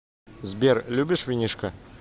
сбер любишь винишко